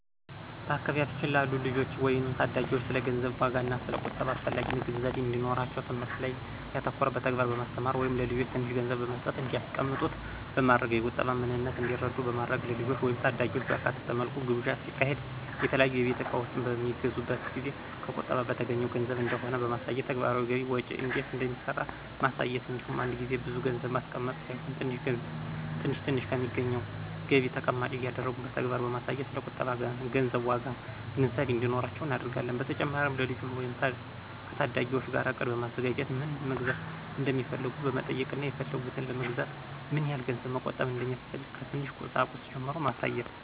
በአካባቢያችን ላሉ ልጆች ወይም ታዳጊዎች ስለ ገንዘብ ዋጋና ስለ ቁጠባ አስፈላጊነት ግንዛቤ እንዲኖራቸው ትምህርት ላይ ያተኮረ በተግባር በማስተማር(ለልጆች ትንሽ ገንዘብ በመስጠትና እንዲያስቀምጡት በማድረግ የቁጠባን ምንነት እንዲረዱ በማድረግ)፣ ልጆችን ወይም ታዳጊዎችን ባካተተ መልኩ ግብዣ ሲካሄድ፣ የተለያዩ የቤት እቃዎች በሚገዙበት ጊዜ ከቁጠባ በተገኘው ገንዘብ እንደሆነ በማሳየት፣ ተግባራዊ ገቢ ወጪ እንዴት እንደሚሰራ ማሳየት እንዲሁም አንድ ጊዜ ብዙ ገንዘብ ማስቀመጥ ሳይሆን ትንሽ ትንሽ ከሚገኘው ገቢ ተቀማጭ እያደረጉ በተግባር በማሳየት ስለ ቁጠባና ገንዘብ ዋጋ ግንዛቤ እንዲኖራቸው እናደርጋለን። በተጨማሪም ከልጆች ወይም ከታዳጊዎች ጋር እቅድ በማዘጋጀት ምን መግዛት እንደሚፈልጉ በመጠየቅና የፈለጉትን ለመግዛት ምን ያህል ገንዘብ መቆጠብ እንደሚያስፈልግ ከትንሽ ቁሳቁስ ጀምሮ ማሳየት።